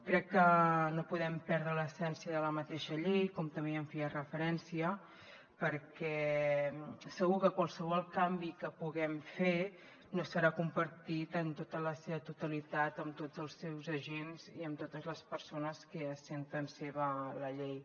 crec que no podem perdre l’essència de la mateixa llei com també ja hi feia referència perquè segur que qualsevol canvi que puguem fer no serà compartit en tota la seva totalitat amb tots els seus agents i amb totes les persones que es senten seva la llei